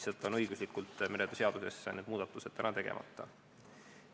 Lihtsalt meretöö seaduses on need muudatused tegemata.